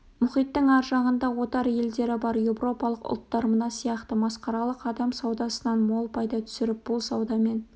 мұхиттың ар жағында отар елдері бар еуропалық ұлттар мына сияқты масқаралық адам саудасынан мол пайда түсіріп бұл саудамен